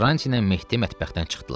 Karranti ilə Mehdi mətbəxdən çıxdılar.